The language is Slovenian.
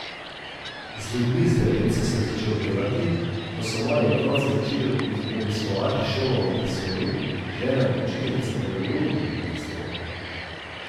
Z ljudmi z demenco sem začel delati, ko so moji otroci začeli obiskovati šolo montessori, žena je učiteljica pedagogike montessori.